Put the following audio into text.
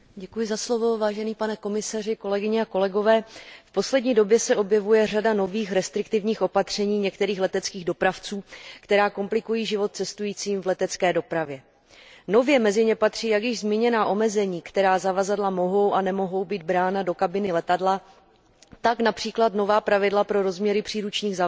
Vážená paní předsedající, v poslední době se objevuje řada nových restriktivních opatření některých leteckých dopravců, která komplikují život cestujícím v letecké dopravě. Nově mezi ně patří jak již zmíněná omezení, která zavazadla mohou a nemohou být brána do kabiny letadla, tak například nová pravidla pro rozměry příručních zavazadel.